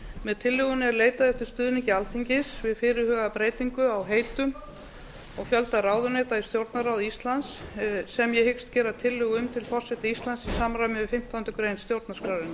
með tillögunni er leitað eftir stuðningi alþingis við fyrirhugaða breytingu á heitum og fjölda ráðuneyta í stjórnarráði íslands sem ég hyggst gera tillögu um til forseta íslands í samræmi við fimmtándu grein stjórnarskrárinnar